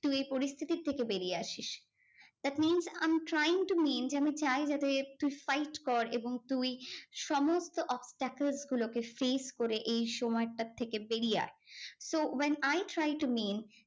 এই পরিস্থিতির থেকে বেরিয়ে আসিস। that means I am trying to mean যে আমি চাই যাতে তুই fight কর এবং তুই সমস্ত obstacles গুলোকে save করে এই সময়টার থেকে বেরিয়ে আয়। so when I trying to mean